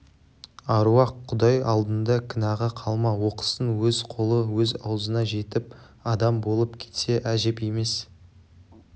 аруақ құдай алдында күнәға қалма оқысын өз қолы өз аузына жетіп адам болып кетсе әжеп емес